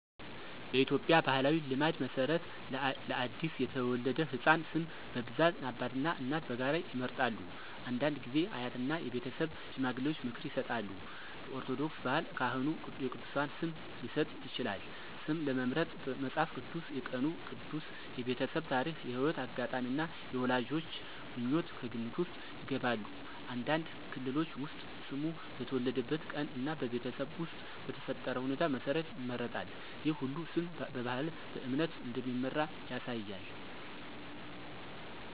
በኢትዮጵያ ባሕላዊ ልማድ መሠረት ለአዲስ የተወለደ ሕፃን ስም በብዛት አባትና እናት በጋራ ይመርጣሉ። አንዳንድ ጊዜ አያትና የቤተሰብ ሽማግሌዎች ምክር ይሰጣሉ። በኦርቶዶክስ ባህል ካህኑ የቅዱሳን ስም ሊሰጥ ይችላል። ስም ለመምረጥ መጽሐፍ ቅዱስ፣ የቀኑ ቅዱስ፣ የቤተሰብ ታሪክ፣ የሕይወት አጋጣሚ እና የወላጆች ምኞት ከግምት ውስጥ ይገባሉ። አንዳንድ ክልሎች ውስጥ ስሙ በተወለደበት ቀን እና በቤተሰብ ውስጥ በተፈጠረ ሁኔታ መሠረት ይመረጣል። ይህ ሁሉ ስም በባህልና በእምነት እንደሚመራ ያሳያል።